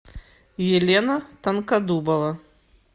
елена тонкодубова